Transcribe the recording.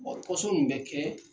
pɔsɔn mun bɛ kɛ